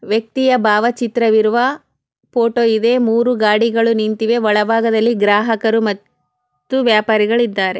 ವ್ಯಕ್ತಿಯ ಭಾವ ಚಿತ್ರ ಇರುವ ಫೋಟೋ ಇದೆ ಮೂರು ಗಾಡಿಗಳು ನಿಂತಿವೆ ಒಳ ಭಾಗದಲ್ಲಿ ಗ್ರಾಹಕರೂ ಮ ತ್ತು ವ್ಯಾಪಾರಿಗಳು ಇದ್ದಾರೆ